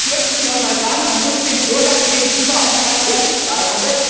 Das möchte ich nochmals sagen Man muss den Bürgern gegenüber auch mal ehrlich sein!